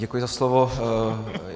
Děkuji za slovo.